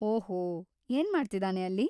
ಓಹೋ, ಏನ್ಮಾಡ್ತಿದಾನೆ ಅಲ್ಲಿ?